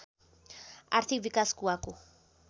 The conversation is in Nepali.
आर्थिक विकास कुवाको